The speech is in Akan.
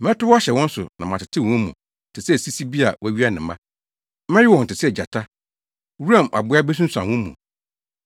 Mɛtow ahyɛ wɔn so na matetew wɔn mu te sɛ sisi bi a wɔawia ne mma. Mɛwe wɔn te sɛ gyata; wuram aboa besunsuan wɔn mu.